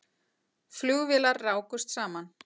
Flugvélar rákust saman